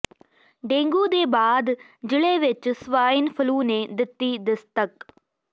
dengue ਦੇ ਬਾਅਦ ਜ਼ਿਲ੍ਹੇ ਵਿੱਚ ਸਵਾਈਨ ਫਲੂ ਨੇ ਦਿੱਤੀ ਦਸਤਕ